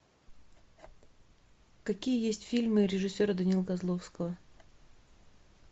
какие есть фильмы режиссера данила козловского